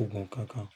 Ògùn kankan.